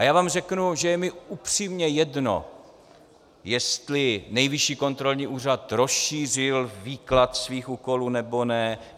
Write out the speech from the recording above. A já vám řeknu, že je mi upřímně jedno, jestli Nejvyšší kontrolní úřad rozšířil výklad svých úkolů, nebo ne.